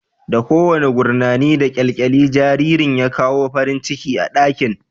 Da kowane gurnani da kyalkyali, jaririn ya kawo farin ciki a ɗakin